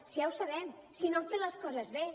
si ja ho sabem si no han fet les coses bé